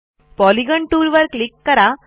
polygon टूलवर click करा